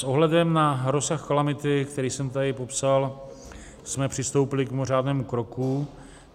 S ohledem na rozsah kalamity, který jsem tady popsal, jsme přistoupili k mimořádnému kroku.